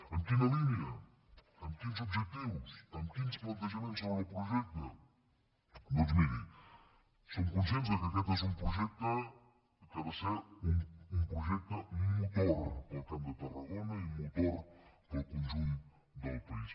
en quina línia amb quins objectius amb quins plantejaments sobre el projecte doncs miri som conscients que aquest és un projecte que ha de ser un projecte motor per al camp de tarragona i motor per al conjunt del país